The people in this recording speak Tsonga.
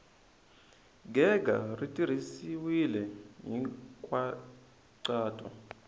gega ri tirhisiwile hi nkhaqato